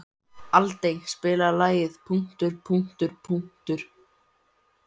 Aldey, spilaðu lagið „Punktur, punktur, komma, strik“.